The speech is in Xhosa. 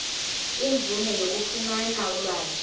imvume yokufumana ulwazi